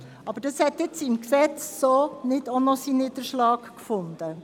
Aber dies hat im Gesetz keinen Niederschlag gefunden.